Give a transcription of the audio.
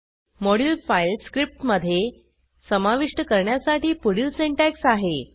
module file स्क्रिप्टमधे समाविष्ट करण्यासाठी पुढील सिंटॅक्स आहे